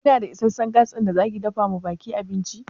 Kina da isasshen Gas ɗin da zaki dafawa ɓakin abinci?